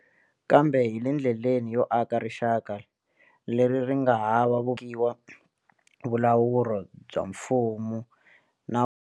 Kambe hi le ndleleni yo aka rixaka leri ri nga hava tekiwa vulawuri bya mfumo na.